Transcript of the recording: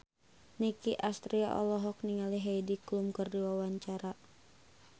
Nicky Astria olohok ningali Heidi Klum keur diwawancara